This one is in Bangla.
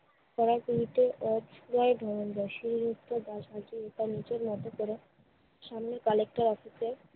পাড়ার গলিতে একলাই ধনঞ্জয়, শিলিগুড়িতে নিজের মতো করে সামনে collector office এ